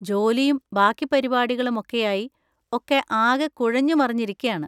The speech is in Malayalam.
ജോലിയും ബാക്കി പരിപാടികളും ഒക്കെയായി ഒക്കെ ആകെ കുഴഞ്ഞുമറിഞ്ഞിരിക്കാണ്.